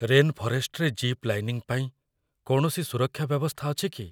Rain ଫରେଷ୍ଟରେ zip lining ପାଇଁ କୌଣସି ସୁରକ୍ଷା ବ୍ୟବସ୍ଥା ଅଛି କି?